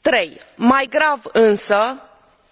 Trei mai grav însă,